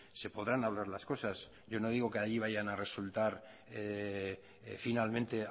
se podrán hablar las cosas yo no digo que de ahí vayan a resultar finalmente